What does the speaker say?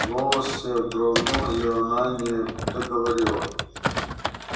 голосе дрогнул и она не договорила